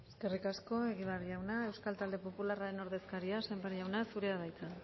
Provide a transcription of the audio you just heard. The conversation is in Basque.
eskerrik asko egibar jauna euskal talde popularraren ordezkaria sémper jauna zurea da hitza